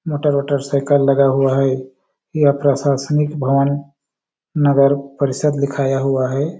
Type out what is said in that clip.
Motor - वोटर cycle लगा हुआ है यहाँ प्रशासनिक भवन नगर परिसद लिखाया हुआ हैं ।